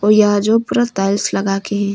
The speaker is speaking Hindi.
यह जो पूरा टाइल्स लगा के है।